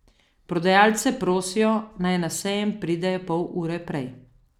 Prodajalce prosijo, naj na sejem pridejo pol ure prej.